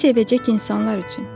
Sizi sevəcək insanlar üçün.